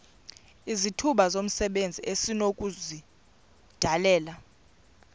izithuba zomsebenzi esinokuzidalela